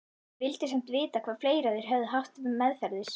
Ég vildi samt vita hvað fleira þeir hefðu haft meðferðis.